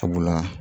Sabula